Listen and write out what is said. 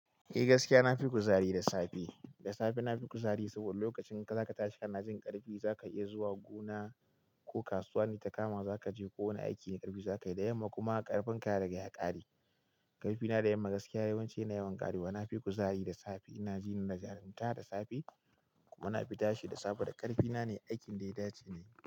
Eh gaskiya na fi kuzari da safe. Da safe na fi kuzari saboda lokacin da za ka tashi ka na jin ƙarfi, za ka iya zuwa gona ko kasuwa ne, takama ma za ka je ko wani aiki ne, ƙarfi za ka yi da yamma kuma ƙarfin ka ya rage ya ƙare. Ƙarfi na da yamma gaskiya yawanci yana yawan ƙare kuma na fi kuzari da safe. Ina jinin da jarunta da safe kuma na fi tashi da safe da ƙarfi na ne, aikin da ya dace ne.